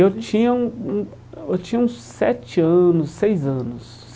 Eu tinha um um eu tinha uns sete anos, seis anos.